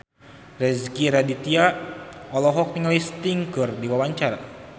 Rezky Aditya olohok ningali Sting keur diwawancara